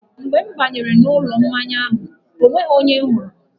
Mgbe m banyere n'ụlọ mmanya ahụ, ọ nweghị onye m hụrụ..